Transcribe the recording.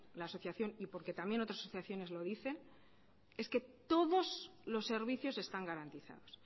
la asociación y también otras asociaciones lo dicen es que todos los servicios están garantizados